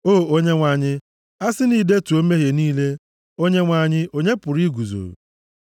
O Onyenwe anyị, a sị na i detuo mmehie niile, Onyenwe anyị, onye pụrụ iguzo?